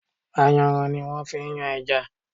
Ayanran ni wón fi ń yan ẹja.